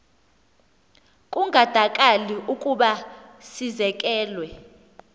kungandakali ukuba sizekelwe